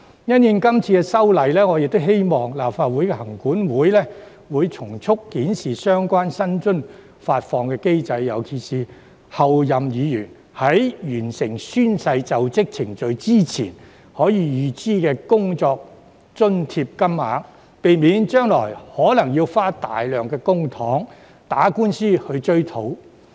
因應今次修例，我亦希望行管會從速檢視相關薪津發放機制，特別是候任議員在完成宣誓就職程序前，可以預支的工作津貼金額，避免將來可能要花費大量公帑打官司追討。